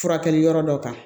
Furakɛli yɔrɔ dɔ kan